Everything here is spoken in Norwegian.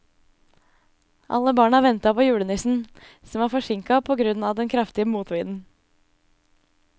Alle barna ventet på julenissen, som var forsinket på grunn av den kraftige motvinden.